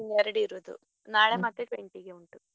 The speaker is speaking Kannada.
ಇನ್ನು ಎರಡೇ ಇರುದು ನಾಳೆ ಮತ್ತೆ twenty ಗೆ ಉಂಟು.